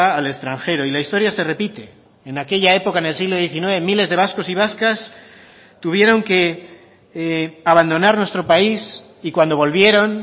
al extranjero y la historia se repite en aquella época en el siglo diecinueve miles de vascos y vascas tuvieron que abandonar nuestro país y cuando volvieron